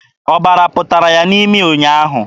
Ọbara pụtara ya n'imi ụnyaahụ.